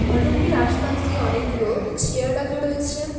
হলরুমটির আসপাশ দিয়ে অনেকগুলো চেয়ার রাখা রয়েছে।